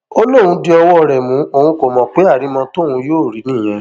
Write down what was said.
ó lóun di ọwọ rẹ mú òun kó mọ pé àrìmọ tóun yóò rí i nìyẹn